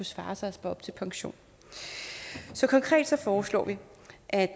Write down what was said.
svare sig at spare op til pension så konkret foreslår vi at